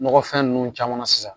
Nɔgɔfɛn ninnu caman na sisan.